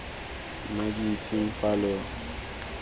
nna ke itseng fa lo